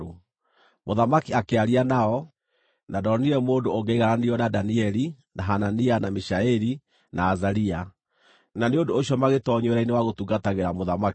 Mũthamaki akĩaria nao, na ndonire mũndũ ũngĩaigananirio na Danieli, na Hanania, na Mishaeli na Azaria; na nĩ ũndũ ũcio magĩtoonyio wĩra-inĩ wa gũtungatagĩra mũthamaki.